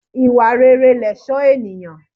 Ìwà rere lẹ̀ṣó ènìyàn.